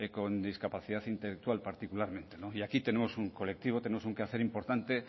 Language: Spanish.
con discapacidad intelectual particularmente y aquí tenemos un colectivo tenemos un quehacer importante